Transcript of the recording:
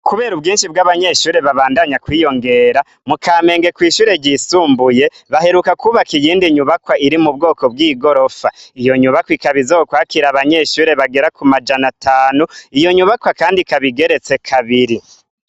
Kubera ubwinshi bw'abanyeshure babandanya kwiyongera mukamenge kw'ishure ryisumbuye baheruka kwubaka iyindi nyubakwa iri mu bwoko bw'igorofa iyo nyubakwa ikabizokwakira abanyeshure bagera ku majana atanu iyo nyubakwa, kandi kabigeretse kabiri.